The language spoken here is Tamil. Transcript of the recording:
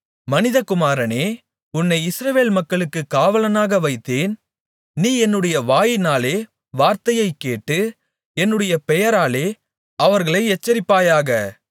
மனிதகுமாரனே உன்னை இஸ்ரவேல் மக்களுக்குக் காவலாளனாக வைத்தேன் நீ என்னுடைய வாயினாலே வார்த்தையைக் கேட்டு என்னுடைய பெயராலே அவர்களை எச்சரிப்பாயாக